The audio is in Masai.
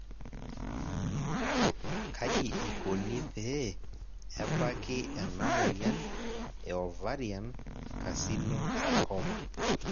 kaji ikoni pee ebaki ena moyian e ovarian carcinosarcoma?